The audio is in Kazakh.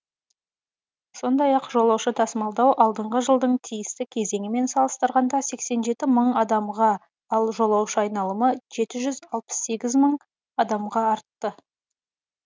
сондай ақ жолаушы тасымалдау алдыңғы жылдың тиісті кезеңімен салыстырғанда сексен жеті мың адамға ал жолаушы айналымы жеті жүз алпыс сегіз мың адамға артты